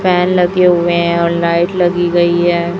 Fan लगे हुए हैं और लाईट लगी गई हैं।